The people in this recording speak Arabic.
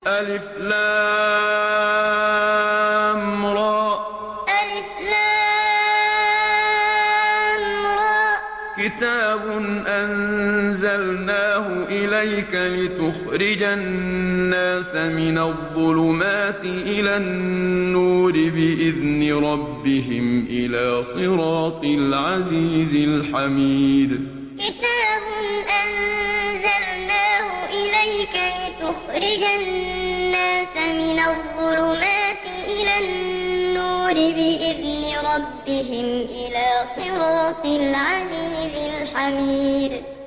الر ۚ كِتَابٌ أَنزَلْنَاهُ إِلَيْكَ لِتُخْرِجَ النَّاسَ مِنَ الظُّلُمَاتِ إِلَى النُّورِ بِإِذْنِ رَبِّهِمْ إِلَىٰ صِرَاطِ الْعَزِيزِ الْحَمِيدِ الر ۚ كِتَابٌ أَنزَلْنَاهُ إِلَيْكَ لِتُخْرِجَ النَّاسَ مِنَ الظُّلُمَاتِ إِلَى النُّورِ بِإِذْنِ رَبِّهِمْ إِلَىٰ صِرَاطِ الْعَزِيزِ الْحَمِيدِ